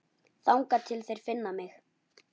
Þangað til þeir finna mig.